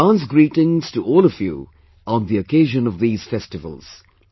Advance greetings to all of you on the occasion of these festivals